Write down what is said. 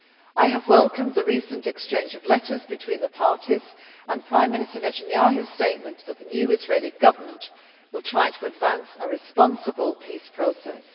Union. I have welcomed the recent exchange of letters between the parties and Prime Minister Netanyahu's statement that the new Israeli Government will try to advance a responsible peace process'.